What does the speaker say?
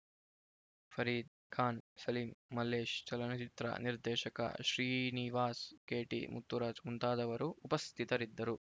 ಫರೀದ್‌ ಖಾನ್‌ ಸಲೀಂ ಮಲ್ಲೇಶ್‌ ಚಲನಚಿತ್ರ ನಿರ್ದೇಶಕ ಶ್ರೀನಿವಾಸ್‌ ಕೆಟಿ ಮುತ್ತುರಾಜ್‌ ಮುಂತಾದವರು ಉಪಸ್ಥಿತರಿದ್ದರು